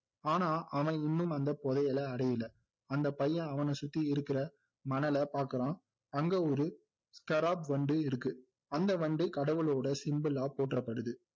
ஆனா அவன் இன்னும் அந்த புதையலை அடையலை அந்த பையன் அவனை சுத்தி இருக்கிற மணலை பாக்குறான் அங்க ஒரு வண்டு இருக்கு அந்த வண்டு கடவுளோட symbol ஆ போற்றப்படுது